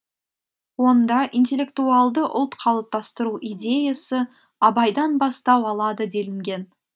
онда интеллектуалды ұлт қалыптастыру идеясы абайдан бастау алады делінген